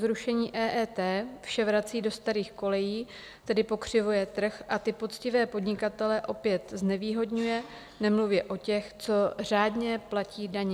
Zrušení EET vše vrací do starých kolejí, tedy pokřivuje trh a ty poctivé podnikatele opět znevýhodňuje, nemluvě o těch, co řádně platí daně.